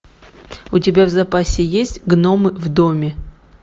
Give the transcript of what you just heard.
у тебя в запасе есть гномы в доме